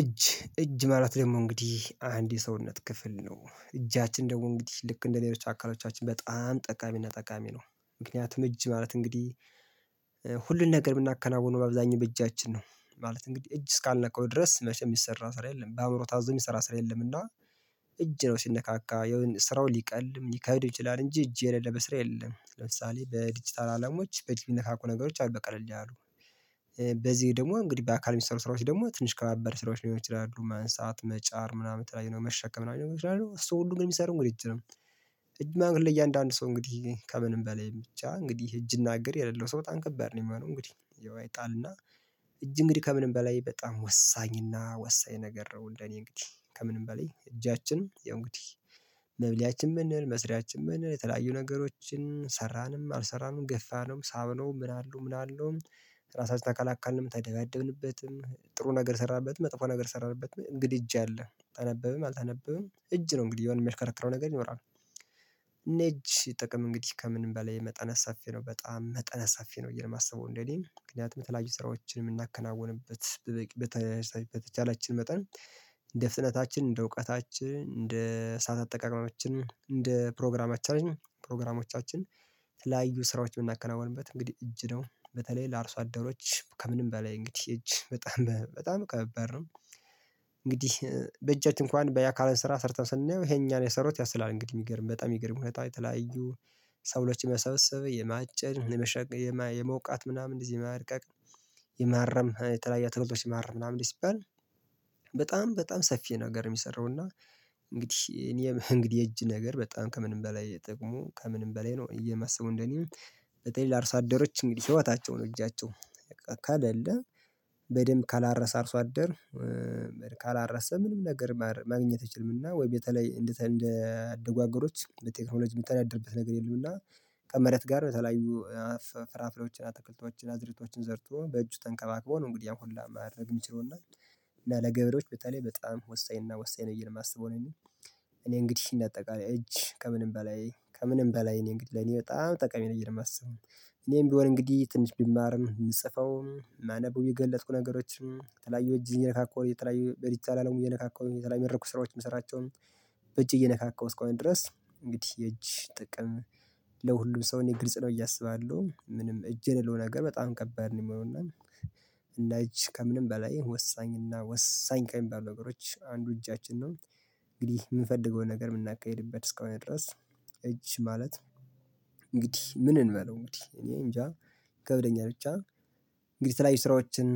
እጅ እጅ ማለት ደግሞ እንግዲህ አንድ የሰውነት ክፍል ነው እጃችን ደግሞ እንግዲህ ልክ እንደ ሌሎች አካላቶቻችን በጣም ጠቃሚና ጠቃሚ ነው። ምክንያቱም እጅ ማለት እንግዲህ ሁሉን ነገር የምናከናውነው በአብዛኛው በእጃችን ነው። ማለት እንግዲህ እጅ እስካልነካው ድረስ መቼም የሚሰራ ስራ የለም በአእምሮ ታዞ የሚሰራ ስራ የለም እና። እጅ ነው ሲነካካ የሆነ ስራውን ሊቀልም ሊካሄድ ይችላል እንጂ እጅ የሌለበት በስራ የለም። ለምሳሌ በዲጂታል አለሞች በእጅ የሚነካኩ ነገሮች አሉ በቀለል ያሉ። በዚህ ደግሞ እንግዲህ በአካል የሚሰሩ ስራዎች ደግሞ ትንሽ ከባባድ ስራዎች ሊሆኑ ይችላሉ ማንሳት መጫር ምናምን የተለያዩ መሸከም ሊሆኑ ይችላሉ እሱ ሁሉንም የሚሰሩ እንግዲህ እጅግ ነው። እጅ ለእያንዳንዱ ሰው እንግዲህ ከምንም በላይ ብቻ እንግዲህ እጅ እና እግር የሌለው ሰው በጣም ከባድ ነው የሚሆነው እንግዲህ አይጣልና። እጅ እንግዲህ ከምንም በላይ በጣም ወሳኝና ወሳኝ ነገር ነው እንደኔ እንግዲህ ከምንም በላይ እጃችን ያው እንግዲህ መብሊያችን ብንል መስሪያችን ብንል የተለያዩ ነገሮችን ሰራንም አልሰራንም ገፋነውም ሳብነውም ምን አለው ምን አለው። ራሳችን ተከላካልንም ተደባደብንበትም ጥሩ ነገር ሰራንበትም መጥፎ ነገር ሰራንበት እንግዲህ እጅ አለ ተነበበም አልተነበበም እጅ ነው እንግዲህ የሆነ የሚያሽከረክረው ነገር ይኖራል። እና የእጅ ጥቅም እንግዲህ ከምንም በላይ መጠነ ሰፊ ነው በጣም መጠነስ ሰፊ ነው የማስበው እንደኔ ምክንያቱም ተለያዩ ስራዎችን የምናከናውንበት በተቻለችን መጠን እንደ ፍጥነታችን እንደ እውቀታችን እንደ ሰዓት አጠቃቀመችን እንደ ፕሮግራማችን ፕሮግራሞቻችን። ላዩ ስራዎች የምናከናውንበት እንግዲህ እጅ ነው በተለይ ለአርሶ አደሮች ከምንም በላይ እንግዲህ እጅ በጣም በጣም ከባድ ነው። እንግዲህ በእጃችን እንኳን በያ አካልን ስራ ሰርተን ስናየው ይሄን እኛ ነው የሰራሁት ያሰብላል እንግዲህ የሚገርም በጣም የሚገርም የተለያዩ ሰብሎችን የመሰብሰበ የማጨድ የመሸጥ የመውቃት ምናምን እንደዚህ ማድቀቅ የማረም የተለያየ አታክልቶችን ማረም ምናምን ሲባል በጣም በጣም ሰፊ ነገር የሚሰራው እና። እንግዲህ እኔ እንግዲህ የእጅ ነገር በጣም ከምንም በላይ ጥቅሙ ከምንም በላይ ነው ብየ የማስበው እንደኔ። በተለይ ለአርሳደሮች እንግዲህ ህይወታቸው ነው እጃቸው በቃ ከለለ በደንብ ካላረሰ አርሶ አደር። ካላረስን ምንም ነገር ማግኘት አይችልምና ወይም በተለይ እንደ አደጉ አገሮች በቴክኖሎጂ የሚተዳደርበት ነገር የለም እና በቃ መሬት ጋር በተለያዩ ፍራፍሬዎችን አትክልቶችን አዝእርቶችን ዘርቶ በእጁ ተንከባክቦ ነው። እንግዲህ አሁን ላይ ማድረግ የሚችለውና እና ለገበሬዎች በተለይ በጣም ወሳኝ እና ወሳኝ ነው ብየ ነው የማስበው። እኔ እንግዲህ እንደ አጠቃላይ እጅ ከምንም በላይ ከምንም በላይ እኔ እንግዲህ ለኔ በጣም ጠቃሚ ነው የማስበው። እኔም ቢሆን እንግዲህ ትንሽ ብማርም ምጽፈው ማነበው የገለጥኩ ነገሮችን የተለያዩ እጅ እየነካካሁ እየተለያዩ በዲጅታል አለሙ እየነካካው የተለያዩ መድረኮች ስራዎች የምሰራቸውን በእጄ እየነካካሁ እስከሆነ ድረስ እንግዲህ የእጅ ጥቅም ለሁሉም ሰው እኔ ግልጽ ነው እያሰባለሁ ምንም እጅ የሌለው ነገር በጣም ከባድ ነው የሚሆነው። እና እጅ ከምንም በላይ ወሳኝና ወሳኝ ከሚባሉ ነገሮች አንዱ እጃችን ነው። እንግዲህ የምንፈልገውን ነገር የምናካሂድበት እስከሆነ ድረስ እጅ ማለት እንግዲህ ምን እንበለው እንግዲህ እኔ እንጃ ይከብደኛል ብቻ እንግዲህ የተለያዩ ስራዎችን